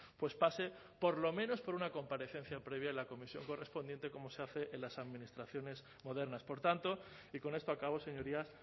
pues pase por lo menos por una comparecencia previa en la comisión correspondiente como se hace en las administraciones modernas por tanto y con esto acabo señorías